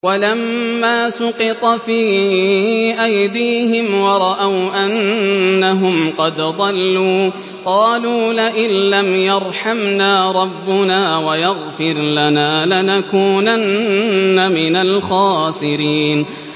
وَلَمَّا سُقِطَ فِي أَيْدِيهِمْ وَرَأَوْا أَنَّهُمْ قَدْ ضَلُّوا قَالُوا لَئِن لَّمْ يَرْحَمْنَا رَبُّنَا وَيَغْفِرْ لَنَا لَنَكُونَنَّ مِنَ الْخَاسِرِينَ